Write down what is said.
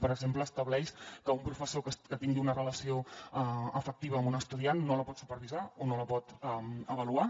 per exemple estableix que un professor que tingui una relació afectiva amb una estudiant no la pot supervisar o no la pot avaluar